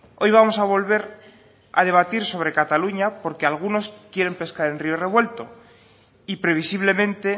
hoy vamos a volver a debatir sobre cataluña porque algunos quieren pescar en río revuelto y previsiblemente